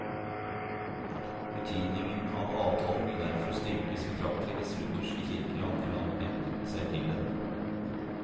Betydningen av avtalen ville derfor styrkes betraktelig hvis lutherske kirker i andre land knyttet seg til den.